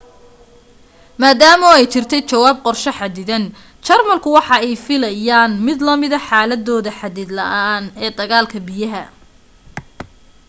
maadama ay jirtay jawaab qorsho xadidan jarmalka waxa ay filaayen mid lamida xaaladooda xadid la'aan ee dagaalka biyaha